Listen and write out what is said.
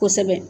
Kosɛbɛ